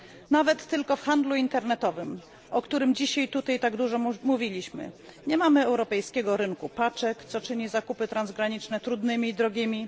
Nawet tylko w handlu internetowym, o którym dzisiaj tutaj tak dużo mówiliśmy, nie mamy europejskiego rynku paczek, co czyni zakupy transgraniczne trudnymi i drogimi.